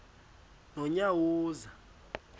nonyawoza